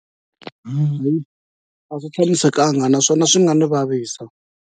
a swi tshamisekanga naswona swi nga ni vavisa.